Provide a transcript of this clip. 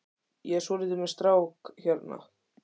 Ég er svolítið með strák hérna.